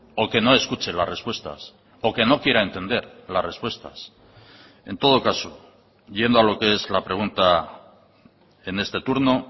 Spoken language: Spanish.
o que no escuche las respuestas o que no quiera entender las respuestas en todo caso yendo a lo que es la pregunta en este turno